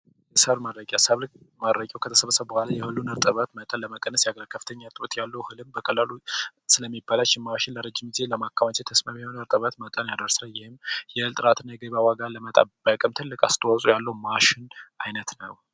ሰብል ማድረቂያ ሰብል ማድረቂያው ከተሰበሰበ የሁሉን እርጥበት መጠን ለመቀነስ ያገለግላል። የከፍተኛ ጥራት ያለው አህልን በቀላሉ ስለሚበላሽ የማሽን ለረጅም ጊዜ ለማከማቸት ተስማሚውን እርጥበት መጠን ያደርሳል። ይህም የእህል ጥራትን የገበያ ዋጋን ለመጠበቅም ትልቅ አስተዋጽዖ ያለው ማሽን ዓይነት ነው።